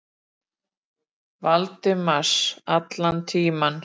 Valdimars allan tímann.